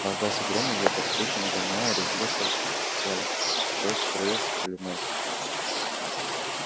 раздался гром и ветер тучи нагоняя резвился в поле дождь струился проливной